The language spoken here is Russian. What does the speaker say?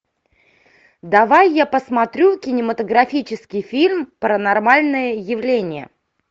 ы